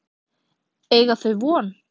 Eiga þau von?